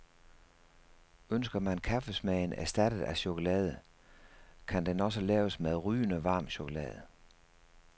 Ønsker man kaffesmagen erstattet af chokolade, kan den også laves med rygende varm chokolade.